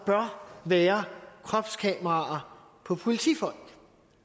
bør være kropskameraer på politifolk